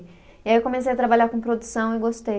E aí eu comecei a trabalhar com produção e gostei.